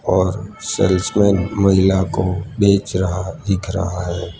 और सेल्समेन महिला को बेच रहा दिख रहा है।